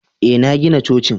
Ee, na gina cocin